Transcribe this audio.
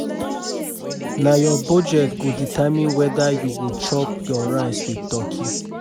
Na your budget go determine whether you go chop your rice with turkey.